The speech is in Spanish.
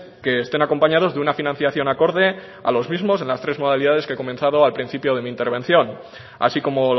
que estén acompañados de una financiación acorde a los mismos en las tres modalidades que he comentado al principio de mi intervención así como